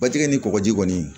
Batigɛ ni kɔgɔji kɔni